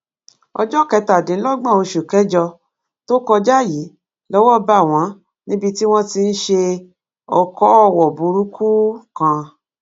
ọjọ kẹtàdínlọgbọn oṣù kẹjọ tó kọjá yìí lọwọ bá wọn níbi tí wọn ti ń ṣe ọkọọwọ burúkú kan